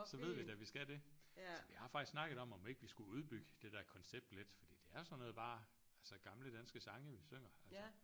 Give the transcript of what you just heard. Så ved vi da vi skal det altså vi har faktisk snakket om om vi ikke skulle udbygge det der koncept lidt for det er sådan noget bare altså gamle danske sange vi synger altså